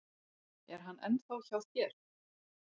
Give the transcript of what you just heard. Er hann ennþá hjá þér?